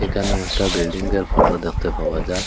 এখানে একটা বিল্ডিংয়ের ফটো দেখতে পাওয়া যার।